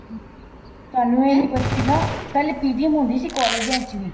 ਤੁਹਾਨੂੰ ਇਹ ਨੀਂ ਪਤਾ ਨਾ ਪਹਿਲੇ PTM ਹੁੰਦੀ ਸੀ ਕੋਲੇਜਾ ਚ ਵੀ